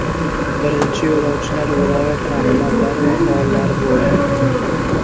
Birinchi yo‘lovchilar viloyat rahbarlari va faollar bo‘ldi.